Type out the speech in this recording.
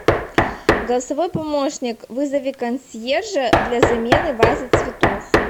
голосовой помощник вызови консьержа для замены вазы цветов